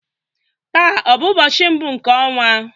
Taa ọ bụ ụbọchị mbụ nke ọnwa?